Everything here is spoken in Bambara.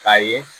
K'a ye